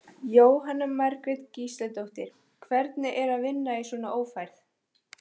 Jóhanna Margrét Gísladóttir: Hvernig er að vinna í svona ófærð?